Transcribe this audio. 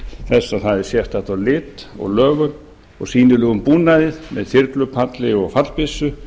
þess að það er sérstakt á lit og lögum og sýnilegum búnaði með þyrlupalli og fallbyssu